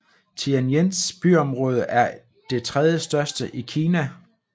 Tianjins byområde er det tredjestørste i Kina